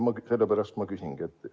Sellepärast ma küsingi.